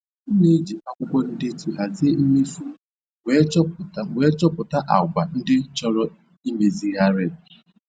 M na-eji akwụkwọ ndetu hazie mmefu m wee chọpụta m wee chọpụta àgwà ndị chọrọ imezigharị.